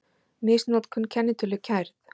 Misnotkun kennitölu kærð